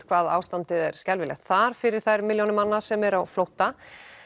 hvað ástandið er skelfilegt þar fyrir þær milljónir manna sem eru á flótta